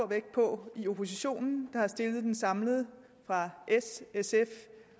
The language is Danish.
vægt på i oppositionen der har stillet den samlet fra s sf de